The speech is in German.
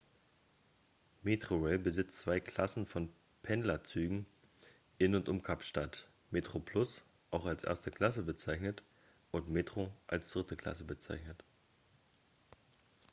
metrorail besitzt zwei klassen von pendlerzügen in und um kapstadt: metroplus auch als erste klasse bezeichnet und metro als dritte klasse bezeichnet